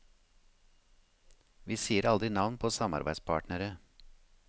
Vi sier aldri navn på samarbeidspartnere.